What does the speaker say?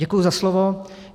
Děkuji za slovo.